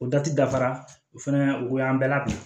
O dati dafara o fana o y'an bɛɛ la